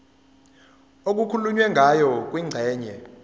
okukhulunywe ngayo kwingxenye